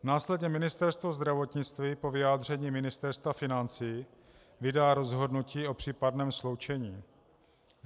Následně Ministerstvo zdravotnictví po vyjádření Ministerstva financí vydá rozhodnutí o případném sloučení.